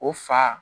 O fa